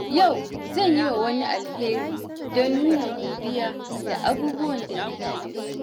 Yau, zan yi wa wani alheri don nuna godiya da abubuwan da nake da su.